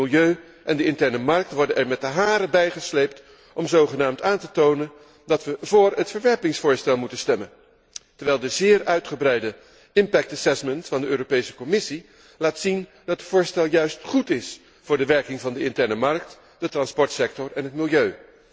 Het milieu en de interne markt worden er met de haren bijgesleept om zogenaamd aan te tonen dat we vóór het voorstel tot verwerping moeten stemmen, terwijl de zeer uitgebreide impact assessment van de Commissie laat zien dat het voorstel juist goed is voor de werking van de interne markt, de transportsector en het milieu.